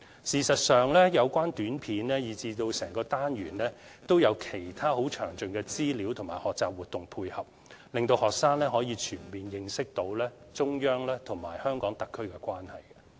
事實上，有關短片以至整個單元，也有其他詳盡資料和學習活動配合，令學生可以全面認識中央和香港特區的關係。